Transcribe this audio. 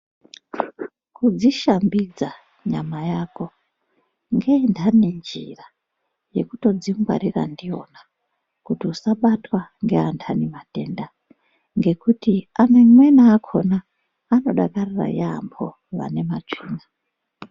Kudzishambidza nyama yako ngeinhani njira yekutodzingwarira ndiyona kuti usabatwa ngeanhani matenda ngekuti amweni akhona anodakarira yaamho vane matsvina.